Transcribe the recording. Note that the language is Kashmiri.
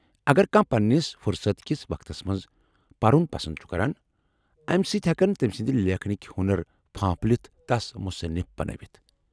اگر کانٛہہ پننس فرصت کس وقتس منٛز پرُن پسند چُھ کران، امہِ سۭتۍ ہیكن تمہِ سٕندۍ لیكھنٕكۍ ہۄنر پھانپھلِتھ تس مُصنِف بنٲوِتھ ۔